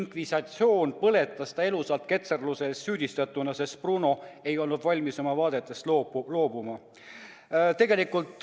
Inkvisitsioon põletas ta elusalt süüdistatuna ketserluses, sest Bruno ei olnud valmis oma vaadetest loobuma.